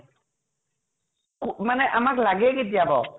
ক~ মানে আমাক লাগে কি বাৰু ?